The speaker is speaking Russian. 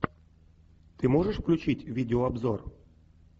ты можешь включить видеообзор